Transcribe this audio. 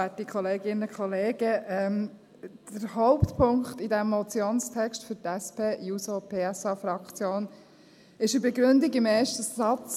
Der Hauptpunkt in diesem Motionstext ist für die SP-JUSO-PSAFraktion eine Begründung im ersten Satz.